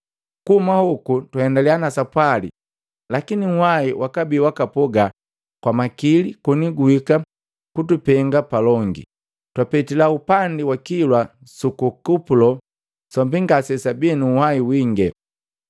Kuhuma hoku twaendaliya na sapwali, lakini nhuwahi wakabi waka poga kwa makili koni guhika kutupenga palongi, twapetila upangi wa kilwa suku ku Kupulo sombi ngasesabii nu nhwahi winge.